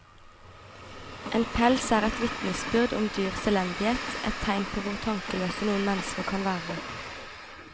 En pels er et vitnesbyrd om dyrs elendighet, et tegn på hvor tankeløse noen mennesker kan være.